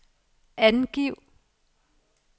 angiv